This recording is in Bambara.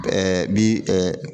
bi